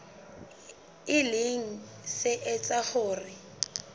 e leng se etsang hore